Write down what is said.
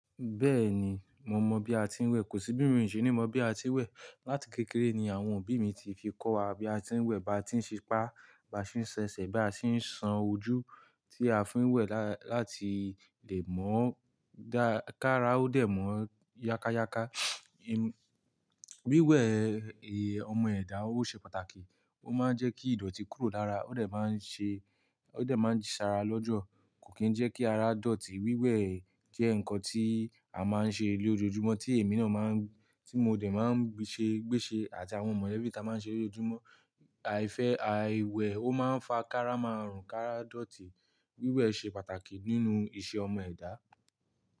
Bẹ́ẹ̀ni, mo mọ bí a ti ń wẹ̀, kò sí bí ìròyìn o ṣe ní mọ bí a ti ń wẹ̀. Látì kékeré ni àwọn òbí mi ti fi kọ́ wa bí a ti ń wẹ̀, bá ti ń ṣipá, bá sì ń ṣẹṣẹ, bá sì ń san ojú tí a fi ń wẹ̀ lá-láti lè mọ ọ dá ká ara ó dẹ̀ mọ̀ ọ yákàyáka. Wíwẹ̀ẹ̀ è ọmọ ẹ̀dá ó ṣe pàtàkì, ó máa ń jẹ́kí ìdọ̀tí kúrò lára, ó dẹ̀ máa ń ṣe, ó dẹ̀ máa ń ṣaara lọ́jọ́, kò kí ń jẹ́kí ara dọ̀tí. Wíwẹ̀ jẹ́ ǹkan tí a máa ń ṣe lójoojúmọ́ tí èmi náà máa ń, tí mo dẹ̀ máa ń gbeṣẹ gbéṣẹ àti àwọn mọlẹbí ta máa ń ṣere ojúmọ́. Àìfẹ́ àìwẹ̀ ó máa ń fa kára maarun, kára dọ̀tí. Wíwẹ̀ ṣe pàtàkì nínú ìṣe ọmọ ẹ̀dá.